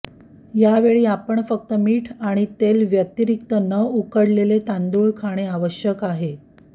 या वेळी आपण फक्त मीठ आणि तेल व्यतिरिक्त न उकडलेले तांदूळ खाणे आवश्यक आहे